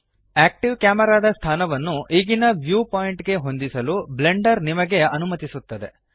active ಕ್ಯಾಮೆರಾದ ಸ್ಥಾನವನ್ನು ಈಗಿನ ವ್ಯೂ ಪಾಯಿಂಟ್ ಗೆ ಹೊಂದಿಸಲು ಬ್ಲೆಂಡರ್ ನಿಮಗೆ ಅನುಮತಿಸುತ್ತದೆ